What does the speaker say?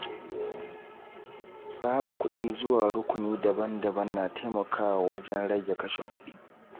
Tsara kuɗi zuwa rukuni daban-daban na taimakawa wajen rage kashe kudi.